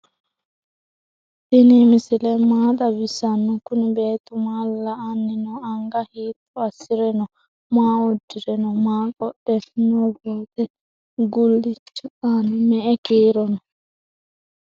tini misile maa xawisano? kuni bettu maa la"ani no?anga hito asire no?maa uudire no?maa qoodhe nobetu gulichi aana me"e kiiro no?